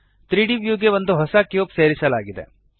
3ದ್ ವ್ಯೂಗೆ ಒಂದು ಹೊಸ ಕ್ಯೂಬ್ ಸೇರಿಸಲಾಗಿದೆ